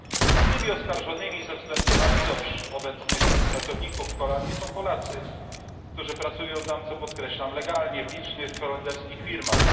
Głównymi oskarżonymi, ze względu na liczbę obecnych pracowników w Holandii, są Polacy, którzy pracują tam co podkreślam legalnie w licznych holenderskich firmach.